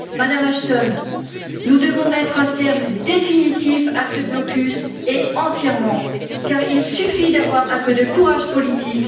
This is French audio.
Madame Ashton, nous devons mettre un terme définitif à ce blocus et entièrement, il suffit d'avoir un peu de courage politique.